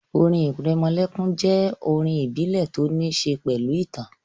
Orin ìrẹmọlẹ́kún jẹ́ àwọn orin ìbílẹ̀ tó ní ṣe pẹ̀lú ìtàn